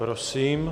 Prosím.